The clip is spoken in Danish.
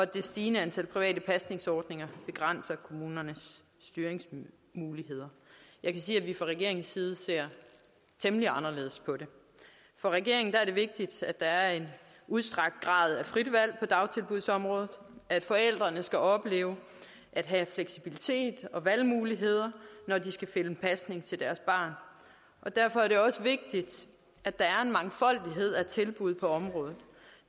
det stigende antal private pasningsordninger begrænser kommunernes styringsmuligheder jeg kan sige at vi fra regeringens side ser temmelig anderledes på det for regeringen er det vigtigt at der er en udstrakt grad af frit valg på dagtilbudsområdet at forældrene skal opleve at have fleksibilitet og valgmuligheder når de skal finde pasning til deres barn og derfor er det også vigtigt at der er en mangfoldighed af tilbud på området